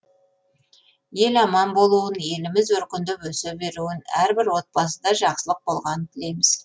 ел аман болуын еліміз өркендеп өсе беруін әрбір отбасыда жақсылық болғанын тілейміз